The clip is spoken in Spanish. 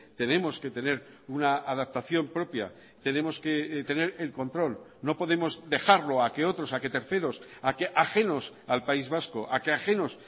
tenemos que tener una adaptación propia tenemos que tener el control no podemos dejarlo a que otros a que terceros a que ajenos al país vasco a que ajenos